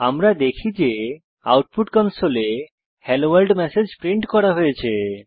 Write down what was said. আমরা দেখি যে আউটপুট কনসোলে হেলোভোর্ল্ড ম্যাসেজ প্রিন্ট করা হয়েছে